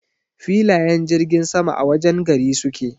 Filayen jirgin sama a wajen gari suke.